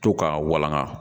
To ka walangaga